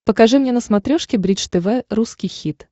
покажи мне на смотрешке бридж тв русский хит